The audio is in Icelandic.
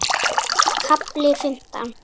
KAFLI FIMMTÁN